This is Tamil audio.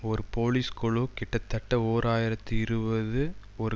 ஒரு போலீஸ் குழு கிட்டத்தட்ட ஓர் ஆயிரத்தி இருபது ஒரு